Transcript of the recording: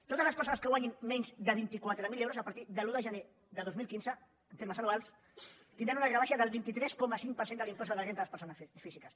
totes les persones que guanyin menys de vint quatre mil euros a partir de l’un de gener de dos mil quinze en termes anuals tindran una rebaixa del vint tres coma cinc per cent de l’impost sobre la renda de les persones físiques